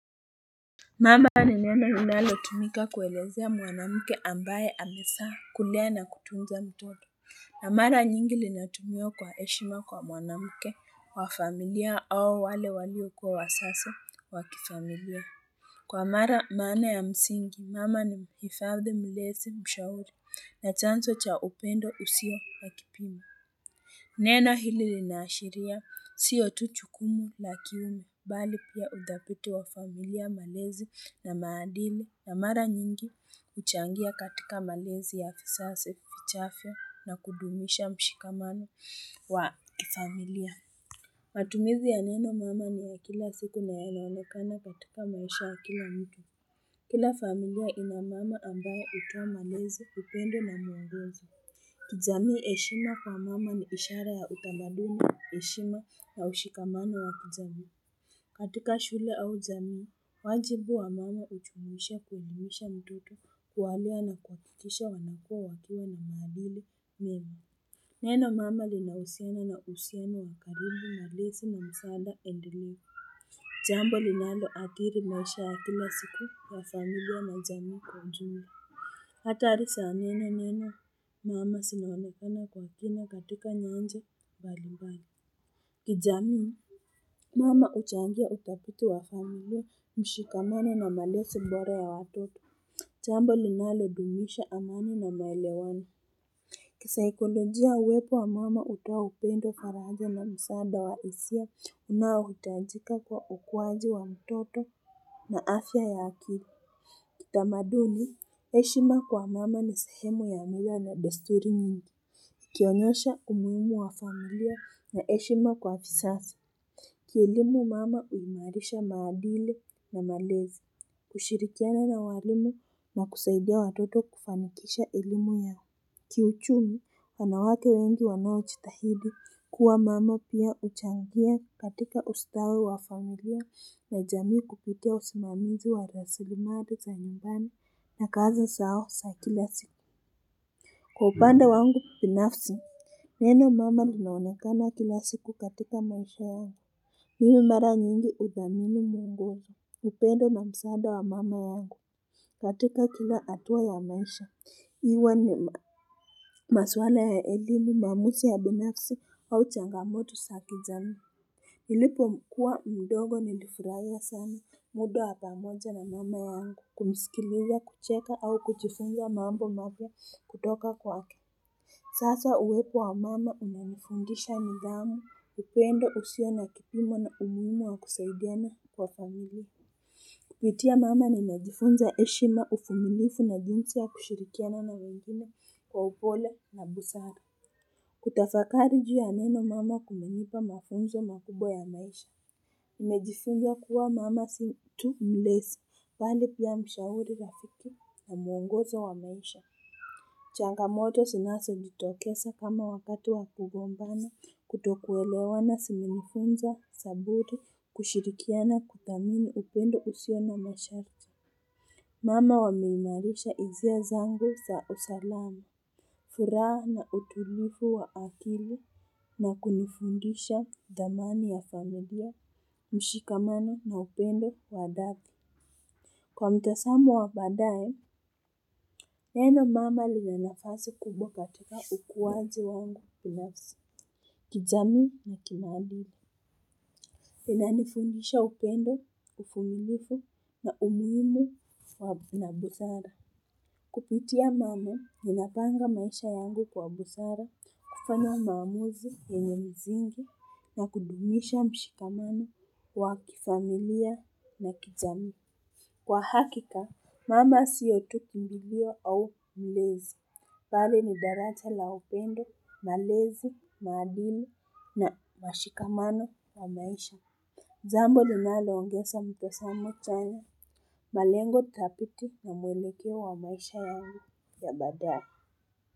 Mama ni neno unalotumika kuelezea mwanamuke ambaye amesaa kulea na kutunza mtoto. Na mara nyingi linatumiwa kwa eshima kwa mwanamuke wafamilia au wale walio kuwa wasasi wakifamilia. Kwa mara maana ya msingi mama ni hifadhi mlezi mshauri na chanso cha upendo usio wakipimo. Neno hili lina ashiria, siyo tu chukumu lakini, bali pia udapiti wa familia malezi na maadili na mara nyingi uchangia katika malezi ya fisasi, fichafyo na kudumisha mshikamano wa familia. Matumizi ya neno mama ni ya kila siku na yanaonekana katika maisha wa kila mtu. Kila familia ina mama ambae utoa malezi upendo na mwongoso kwa jamii heshima kwa mama ni ishara ya kitamaduni heshima na ushikamano wa kijamii. Katika shule au jamii, wajibu wa mama uchumuisha kuunimisha mitoto kuwalua na kuakikisha wanakua wakiwa na maadili, mema. Neno mama li na usiano na useno wa karibu na lesi na msaada edilu. Jambo li nalo atiri na isha ya kila siku ya familia na zamii kwa ujumi. Hatarisa nene neno mama sinaonekana kwa kina katika nyanja balimbani. Kijamii, mama uchangia utapitu wa familia, mshikamano na malesi mbora ya watoto, chambo linalo dumisha amani na maelewano. Kisaikolojia uwepo wa mama utao upendo faraja na msanda wa isia, unaotajika kwa ukuwaji wa mtoto na afya ya akili. Kitamaduni, heshima kwa mama ni sehemu ya mila na desturi mingi. Kionyesha umuimu wa familia na eshima kwa fisasi. Ki elimu mama uumarisha maadili na malezi. Kushirikiana na walimu na kusaidia watoto kufamikisha elimu yaa. Kiuchumi wanawake wengi wanochitahidi kuwa mama pia huchangia katika ustawi wa familia na jamii kupitia usimamizi wa rasilimali za nyumbani na kazi zao za kila siku. Kwa upanda wangu pinafsi. Neno mama linaonekana kila siku katika maisha yangu. Hiu mara nyingi udhamini nyangoja. Upendo na msaada wa mama yangu katika kila atua ya maisha. Iwa ni maswala ya elimu, mamusi ya bineksu au changamoto sa kijami. Hilipo kuwa mdogo ni lifiraia sana, muda wa pamoja na mama yangu, kumisikileja, kucheka au kujifunga mambo mabia kutoka kwa ke. Sasa uwepo wa mama unanifundisha nidhamu, ipendo usio na kipimo na umuimu wa kusaidiana kwa familie. Kupitia mama na nimejifunza eshima ufumilifu na jinsi ya kushirikiana na wengine kwa upole na busara. Kutafakari juu ya neno mama kumenipa mafunzo makubwa ya maisha. Imejifunza kuwa mama si tu mlesi, pali pia mshauri rafiki na muongozo wa maisha. Changamoto sinaso jitokesa kama wakatu wa kugombana kutokuelewana simenifunza saburi kushirikiana kuthamini upendo usio na masharti. Mama wameimarisha izia zangu sa usalama. Furaha na utulifu wa akili na kunifundisha dhamani ya familia, mshikamana na upendo wa dhati. Kwa mtasamo wa badaye, neno mama lina nafasi kubo katika ukuwaji wangu binafsi. Kijami na kimaadili. Ina nifundisha upendo, ufumilifu na umuimu na busara. Kupitia mama, ninapanga maisha yangu kwa busara, kufanya maamuzi, yenye msingi, na kudumisha mshikamano wa kifamilia na kijami. Kwa hakika, mama siyotu kumbilio au mlezi. Pali ni daraja la upendo, malezi, maadili na mashikamano wa maisha. Jambo li nalongesa mtasamo chanya, malengo thapiti na mwelekeo wa maisha yangu ya badae.